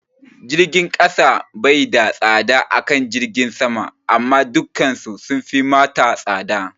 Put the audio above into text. Jirgin kasa bai da tsada akan jirgin sama amma dukan su sunfi mata tsada